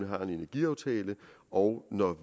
har en energiaftale og når